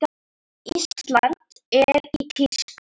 Ísland er í tísku.